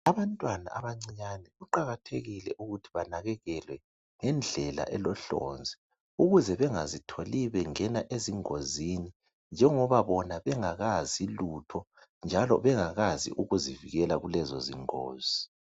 Abantwana abancinyane kuqakathekile ukuthi banakekelwe ngendlela elohlonzi ukuze bengazitholi bengena ezingozini njengoba bona bengakazi lutho njalo bengakazi ukuzivikela kulezozingozi